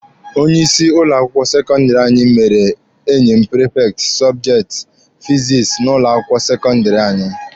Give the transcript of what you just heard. Onye ịsị ụlọ akwụkwọ sekọndịrị anyị mere enyi m prifekti sọbjekti fizikisi n'ụlọ akwụkwọ sekọndịrị anyị.